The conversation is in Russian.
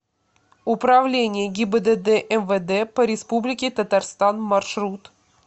управление гибдд мвд по республике татарстан маршрут